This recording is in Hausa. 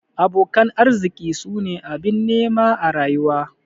Abokan arziki su ne abin nema a rayuwa.